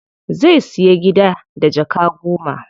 Zai siya gida da jaka goma.